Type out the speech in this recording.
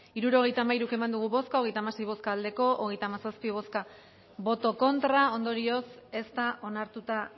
hirurogeita hamairu eman dugu bozka hogeita hamasei boto aldekoa treinta y siete contra ondorioz ez da onartuta